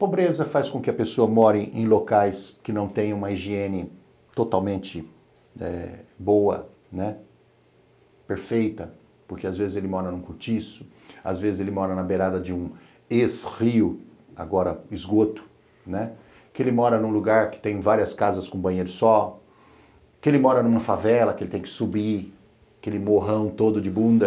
Pobreza faz com que a pessoa more em locais que não têm uma higiene totalmente eh boa, perfeita, porque às vezes ele mora num cortiço, às vezes ele mora na beirada de um ex-rio, agora esgoto, né, que ele mora num lugar que tem várias casas com banheiro só, que ele mora numa favela que ele tem que subir aquele morrão todo de bunda.